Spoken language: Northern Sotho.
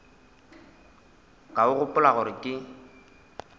ka o gopola gore ke